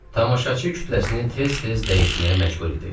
Tamaşaçı kütləsini tez-tez dəyişməyə məcbur idik.